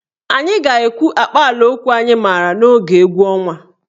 Anyị ga-ekwu akpaalaokwu anyị maara n'oge egwu ọnwa.